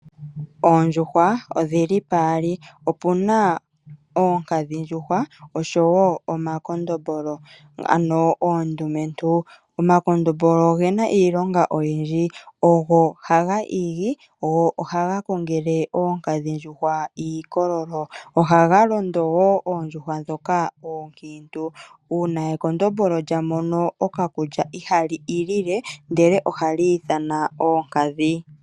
Oondjuhwa odhili pomaludhi geli gaali. Opuna oonkadhindjuhwa osho wo omakondombolo ano oondjuhwa oondumentu. Omakondombolo ogena iilonga oyindji, ogo haga igi go ogo haga kongele oonkadhindjuhwa iilkololo. Ohaga londo woo oondjuhwa ndhoka ookiintu .Uuna ekondombolo lya mono okakulya ihali ilile ihe ohali ithana oonkadhindjuhwa.